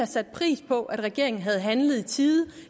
sat pris på at regeringen havde handlet i tide